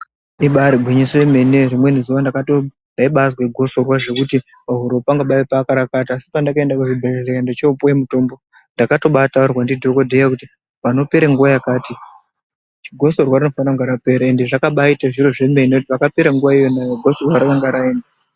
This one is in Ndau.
Ibari gwinyiso yomene rimweni zuwa ndabatozwe Gotsorwa zvekuti pahura pangu paibaparapata asipandakaenda kuzvibhedhlera ndochopuwe mutombo ndakabatotaurirwa ndidhokodheya kuti panopera nguwa yakati Gotsorwa rinofanirwa kunga rapera ende zvakabaite zviro zvemene kuti pakapera iyona iyoyo Gotsorwa ranga raenda.